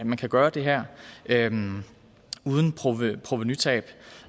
man kan gøre det her uden provenutab